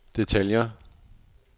detaljer